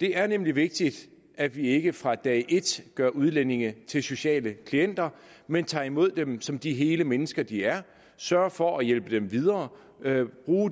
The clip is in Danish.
det er nemlig vigtigt at vi ikke fra dag et gør udlændinge til sociale klienter men tager imod dem som de hele mennesker de er sørger for at hjælpe dem videre